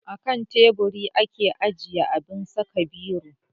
Akan teburi ake ajiye abun saka biro